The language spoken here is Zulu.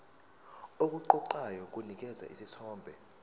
okuqoqayo kunikeza isithombe